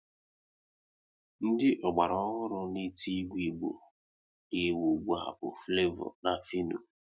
Ndị ọgbara ọhụrụ n'eti egwu Igbo na ewu ụgbụa bu Flevo na Fịno